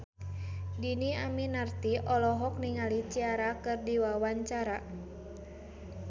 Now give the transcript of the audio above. Dhini Aminarti olohok ningali Ciara keur diwawancara